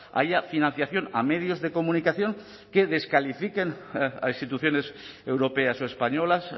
haya financiación a medios de comunicación que descalifiquen a instituciones europeas o españolas